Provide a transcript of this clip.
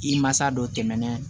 I mansa dɔ tɛmɛnɛna